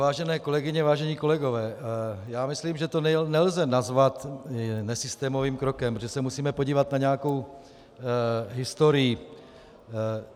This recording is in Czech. Vážené kolegyně, vážení kolegové, já myslím, že to nelze nazvat nesystémovým krokem, protože se musíme podívat na nějakou historii.